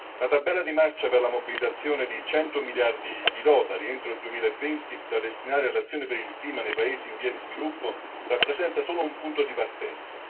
La tabella di marcia per la mobilitazione di 100 miliardi di dollari entro il 2020 da destinare all'azione per il clima nei paesi in via di sviluppo rappresenta solo un punto di partenza.